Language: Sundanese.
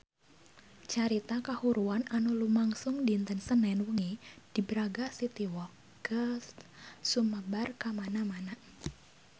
Carita kahuruan anu lumangsung dinten Senen wengi di Braga City Walk geus sumebar kamana-mana